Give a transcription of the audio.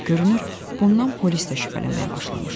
Görünür, bundan polis də şübhələnməyə başlamışdı.